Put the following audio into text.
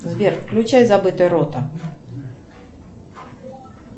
сбер включай забытая рота